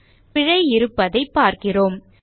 பிழை இருப்பதை பார்க்கிறோம்